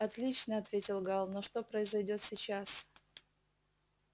отлично ответил гаал но что произойдёт сейчас